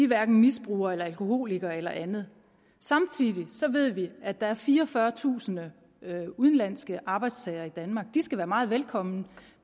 hverken misbrugere eller alkoholikere eller andet samtidig ved vi at der er fireogfyrretusind udenlandske arbejdstagere i danmark og de skal være meget velkomne